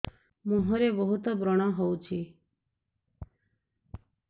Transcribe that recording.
ମୁଁହରେ ବହୁତ ବ୍ରଣ ହଉଛି